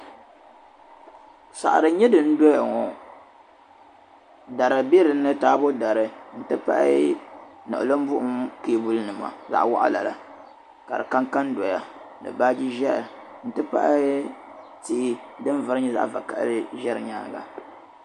Saɣiri n-nyɛ din doya ŋɔ dari bɛ dinni taabo dari n-ti pahi niɣilimbuɣim kaabulinima zaɣ'waɣila la ka di kan kan doya ni baaji Ʒehi n-ti pahi tihi din vari nyɛ zaɣ'vakahili Ʒe di nyaaŋa